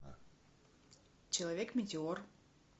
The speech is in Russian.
человек метеор